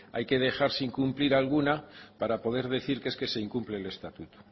hay que dejar sin cumplir alguna para poder decir que es que se incumple el estatuto